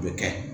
O bɛ kɛ